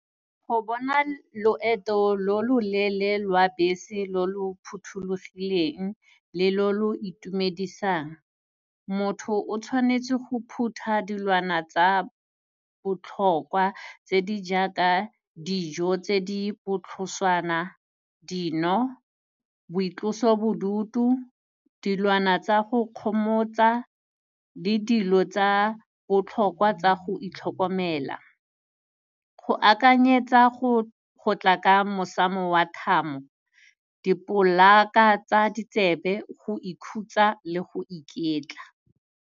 Go bona loeto lo loleele lwa bese lo lo phuthulugileng le lo lo itumedisang, motho o tshwanetse go phutha dilwana tsa botlhokwa tse di jaka dijo tse di botlhoswana, dino, boitlosobodutu, dilwana tsa go kgomotsa le dilo tsa botlhokwa tsa go itlhokomela. Go akanyetsa go tla ka mosamo wa thamo, dipolaka tsa ditsebe go ikhutsa le go iketla.